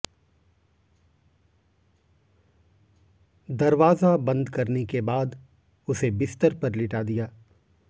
दरवाजा बंद करने के बाद उसे बिस्तर पर लिटा दिया